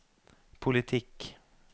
politikk